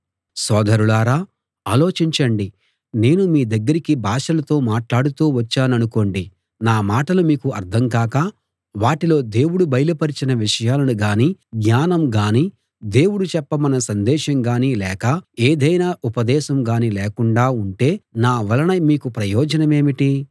సోదరులారా ఆలోచించండి నేను మీ దగ్గరికి భాషలతో మాట్లాడుతూ వచ్చాననుకోండి నా మాటలు మీకు అర్థం కాక వాటిలో దేవుడు బయలు పరచిన విషయాలను గానీ జ్ఞానం గానీ దేవుడు చెప్పమన్న సందేశం గానీ లేక ఎదైనా ఉపదేశం గానీ లేకుండా ఉంటే నా వలన మీకు ప్రయోజనమేమిటి